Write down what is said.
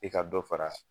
I ka dɔ fara